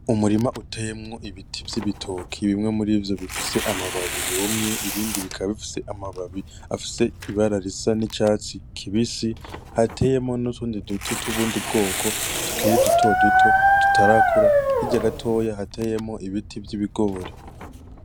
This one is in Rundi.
Umurima uteyemwo ibiti vy’ibitoke bimwe murivyo bifise amababi yumye ibindi bikaba bifise amababi afise ibara risa n’icatsi kibisi, hateyemwo n’utundi duti twubundi bwoko tukiri dutoduto tutarakura, hirya gatoya hateyemwo ibiti vy’ibigori.